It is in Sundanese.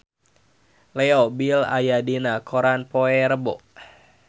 Leo Bill aya dina koran poe Rebo